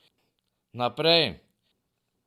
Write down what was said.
Naprej!